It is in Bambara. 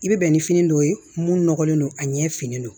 I bɛ bɛn ni fini dɔw ye mun nɔgɔlen don a ɲɛ finnen don